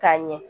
K'a ɲɛ